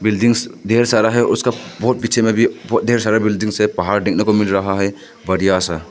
Buildings ढ़ेर सारा है उसका बहुत पीछे में भी ढेर सारा बिल्डिंग्स है पहाड़ देखने को मिल रहा है बढ़िया सा।